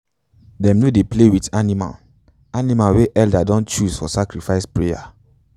them no dey play with animal animal wey elders don choose for sacrifice prayer.